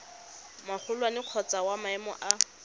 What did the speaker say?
magolwane kgotsa wa maemo a